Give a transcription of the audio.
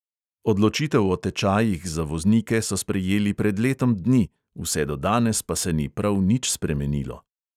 Odločitev o tečajih za voznike so sprejeli pred letom dni, vse do danes pa se ni prav nič spremenilo.